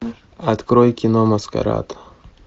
открой кино маскарад